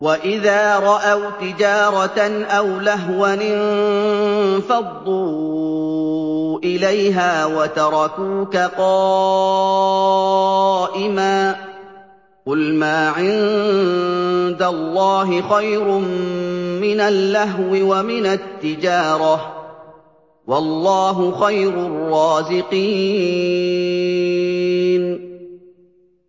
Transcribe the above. وَإِذَا رَأَوْا تِجَارَةً أَوْ لَهْوًا انفَضُّوا إِلَيْهَا وَتَرَكُوكَ قَائِمًا ۚ قُلْ مَا عِندَ اللَّهِ خَيْرٌ مِّنَ اللَّهْوِ وَمِنَ التِّجَارَةِ ۚ وَاللَّهُ خَيْرُ الرَّازِقِينَ